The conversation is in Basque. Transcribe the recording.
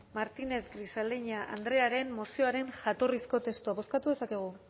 martínez grisaleña andrearen mozioaren jatorrizko testo bozkatu dezakegu